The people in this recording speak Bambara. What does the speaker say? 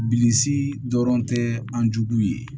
Bilisi dɔrɔn tɛ an jugu ye